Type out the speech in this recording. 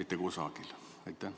mitte kusagile.